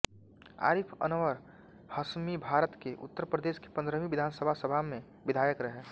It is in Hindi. आरिफ अनवर हाशमीभारत के उत्तर प्रदेश की पंद्रहवी विधानसभा सभा में विधायक रहे